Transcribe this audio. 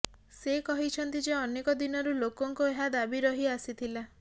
ସେ କହିଛନ୍ତି ଯେ ଅନେକ ଦିନରୁ ଲୋକଙ୍କ ଏହା ଦାବି ରହି ଆସିଥିଲା